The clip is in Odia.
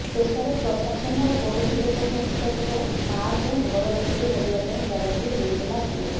ଶେଷରେ ପ୍ରଶାସନ ଓ ପଡୋଶୀ ଲୋକଙ୍କ ହସ୍ତକ୍ଷେପ ମାକୁ ଘର ଭିତରେ ରହିବା ପାଇଁ ଜାଗାଟିଏ ଦେଇଥିଲା ପୁଅ